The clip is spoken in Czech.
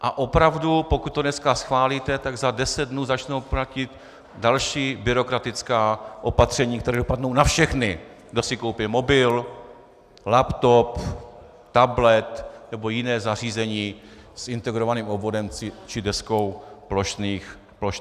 A opravdu, pokud to dneska schválíte, tak za deset dnů začnou platit další byrokratická opatření, která dopadnou na všechny, kdo si koupí mobil, laptop, tablet nebo jiné zařízení s integrovaným obvodem či deskou plošných spojů.